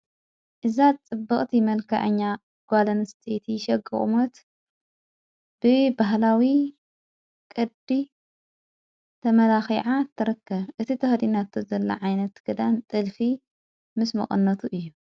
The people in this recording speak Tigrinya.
እዛት ጥበቕቲ መልከአኛ ጓለን ስተቲ ሸግቑሞት ብ ባህላዊ ቕዲ ተመላኺዓ ተረከ እቲ ተኅዲናቶ ዘለ ዓይነት ገዳን ጠልፊ ምስ መቕነቱ እዩ።